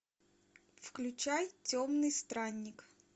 включай темный странник